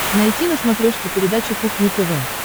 найти на смотрешке передачу кухня тв